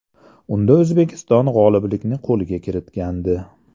Unda O‘zbekiston g‘oliblikni qo‘lga kiritgandi.